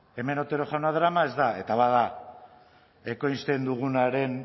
hemen otero jauna darama ez da eta bada ekoizten dugunaren